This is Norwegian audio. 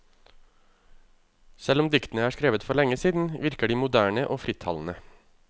Selv om diktene er skrevet for lenge siden, virker de moderne og frittalende.